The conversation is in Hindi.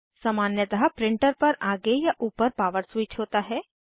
सामान्यतः प्रिंटर पर आगे या ऊपर पावर स्विच होता है